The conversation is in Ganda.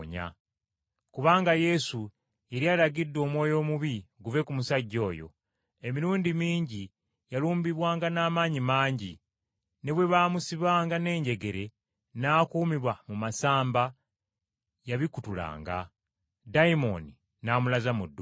Kubanga Yesu yali alagidde omwoyo omubi guve ku musajja oyo. Emirundi mingi yalumbibwanga n’amaanyi mangi, ne bwe baamusibanga n’enjegere, n’akuumibwa mu masamba, yabikutulanga, ddayimooni n’amulaza mu ddungu.